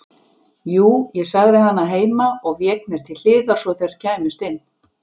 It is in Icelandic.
Jú, ég sagði hana heima og vék mér til hliðar svo þær kæmust inn.